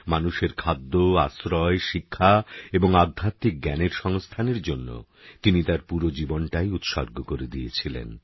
মানুষের খাদ্য আশ্রয় শিক্ষা এবং আধ্যাত্মিকজ্ঞানের সংস্থানের জন্য তিনি তাঁর পুরো জীবনটাই উৎসর্গ করে দিয়েছিলেন